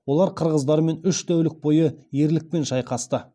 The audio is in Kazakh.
олар қырғыздармен үш тәулік бойы ерлікпен шайқасты